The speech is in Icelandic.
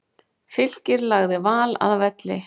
Fylkir lagði Val að velli